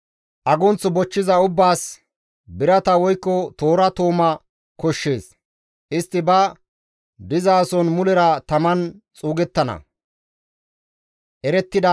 Agunth bochchiza ubbaas, birata woykko toora tooma koshshees; istti ba dizason mulera taman xuugettana.»